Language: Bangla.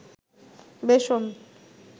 বেসন